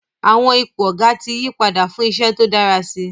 Àwọn ipò Ọ̀gá ti yí padà fún iṣẹ́ tó dára si